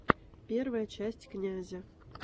первая часть князя